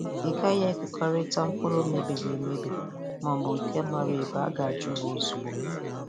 Ịgaghị ekekọịta mpụrụ mebiri emebi ma ọbụ nke mara ebu a ga-ajụ ha ozugbo.